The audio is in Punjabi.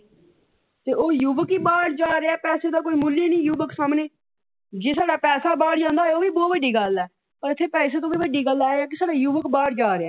ਤੇ ਉਹ ਯੁਵੱਕ ਹੀ ਬਾਹਰ ਜਾ ਰਿਹਾ ਪੈਸੇ ਦਾ ਕੋਈ ਮੁੱਲ ਹੀ ਨਹੀ ਯੁਵੱਕ ਸਾਹਮਣੇ ਜੇ ਸਾਡਾ ਪੈਸਾ ਬਾਹਰ ਜਾਂਦਾ ਹੋਵੇ ਉਹ ਵੀ ਬਹੁਤ ਵੱਡੀ ਗੱਲ ਹੈ। ਪਰ ਇੱਥੇ ਪੈਸੇ ਤੋਂ ਵੀ ਵੱਡੀ ਗੱਲ ਹੈ ਕਿ ਸਾਡਾ ਯੁਵੱਕ ਬਾਹਰ ਜਾ ਰਿਹਾ ਹੈ।